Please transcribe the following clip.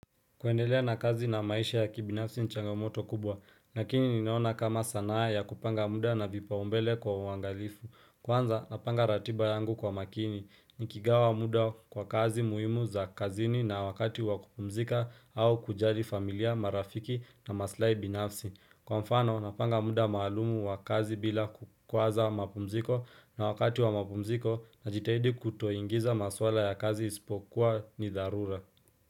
Kuendelea na kazi na maisha ya kibinafsi ni changamoto kubwa, lakini ninaona kama sanaa ya kupanga muda na vipaumbele kwa uangalifu. Kwanza, napanga ratiba yangu kwa makini, nikigawa muda kwa kazi muhimu za kazini na wakati wa kupumzika au kujali familia, marafiki na maslahi binafsi. Kwa mfano, napanga muda maalumu wa kazi bila kukwaza mapumziko na wakati wa mapumziko najitahidi kutoingiza maswala ya kazi isipokuwa ni dharura.